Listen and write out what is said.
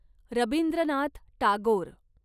Rabindranath Tagore